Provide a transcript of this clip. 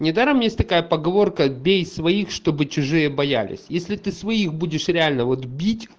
недаром есть такая поговорка бей своих чтобы чужие боялись если ты своих будешь реально вот бить